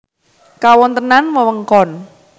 Kawontenan wewengkon